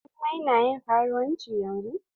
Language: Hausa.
jummai na ƴin karuwanci yanzun